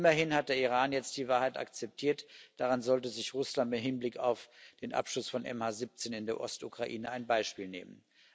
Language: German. Immerhin hat der Iran jetzt die Wahrheit akzeptiert. Daran sollte sich Russland im Hinblick auf den Abschuss von MH17 in der Ostukraine ein Beispiel nehmen.